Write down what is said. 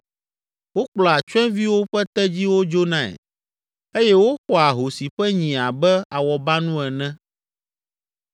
Wokplɔa tsyɔ̃eviwo ƒe tedziwo dzonae eye woxɔa ahosi ƒe nyi abe awɔbanu ene.